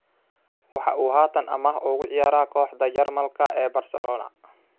Waxa uu haatan amaah ugu ciyaara kooxda Jarmalka ee Barcelona.